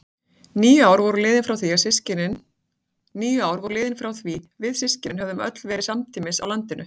Níu ár voru liðin frá því við systkinin höfðum öll verið samtímis á landinu.